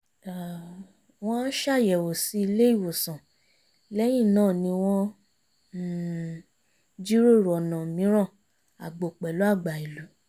wọ́n ṣàyẹ̀wò sí ilé ìwòsàn lẹ́yìn náà ni wọ́n um jiròrò ọ̀nà mìíràn àgbo pẹ̀lú àgbà ìlú